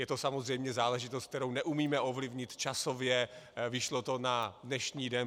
Je to samozřejmě záležitost, kterou neumíme ovlivnit časově, vyšlo to na dnešní den.